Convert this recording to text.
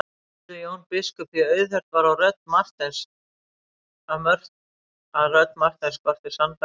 spurði Jón biskup því auðheyrt var að rödd Marteins skorti sannfæringu.